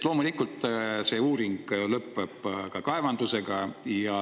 Loomulikult lõpeb ka see uuring kaevandusega.